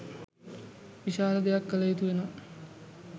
විශාල දෙයක් කළ යුතු වෙනවා.